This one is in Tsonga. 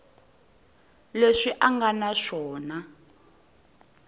leswi a nga na swona